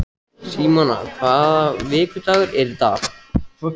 Símona, hvaða vikudagur er í dag?